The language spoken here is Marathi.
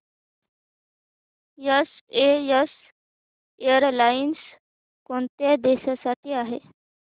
एसएएस एअरलाइन्स कोणत्या देशांसाठी आहे